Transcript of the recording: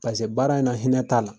Pase baara in na hinɛ ta'a la